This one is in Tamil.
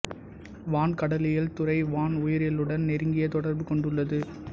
வான் கடலியல் துறை வான் உயிரியலுடன் நெருங்கிய தொடர்பு கொண்டுள்ளது